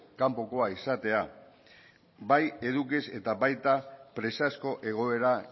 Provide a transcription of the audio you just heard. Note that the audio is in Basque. kanpokoa izatea bai edukiz eta baita presazko egoera